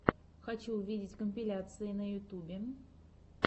хочу увидеть компиляции на ютьюбе